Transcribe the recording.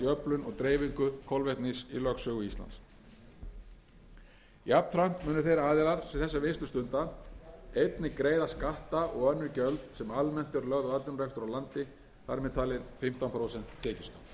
og dreifingu kolvetnis í lögsögu íslands jafnframt munu þeir aðilar sem þessa vinnslu stunda einnig greiða skatta og önnur gjöld sem almennt eru lögð á atvinnurekstur á landi þar með talinn fimmtán prósent tekjuskatt á